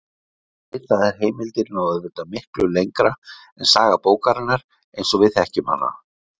Ritaðar heimildir ná auðvitað miklu lengur en saga bókarinnar eins og við þekkjum hana.